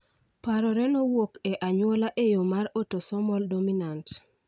Parore nowuok e anyuola e yo mar autosomal dominant